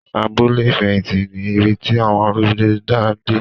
Abúlé ìfẹ̀hìtì ni ibi tí àwọn arúgbó ń dá gbé.